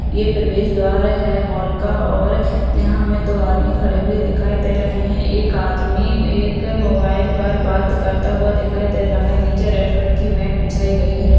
यह प्रवेश द्वार है हॉल का और यहाँ हमे दो आदमी खड़े हुए दिखाई दे रहे है एक आदमी एक मोबाइल पर बात करता हुआ दिखाई दे रहा है नीचे रेड कलर की मॅट बिछाई गई है।